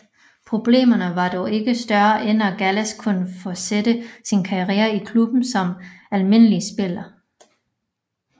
Problemerne var dog ikke større end at Gallas kunne fortsætte sin karriere i klubben som almindelig spiller